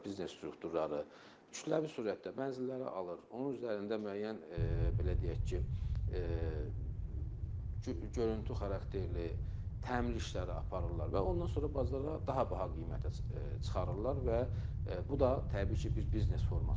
Biznes strukturları kütləvi sürətdə mənzilləri alır, onun üzərində müəyyən belə deyək ki, görüntü xarakterli təmir işləri aparırlar və ondan sonra bazara daha baha qiymətə çıxarırlar və bu da təbii ki, bir biznes formasıdır.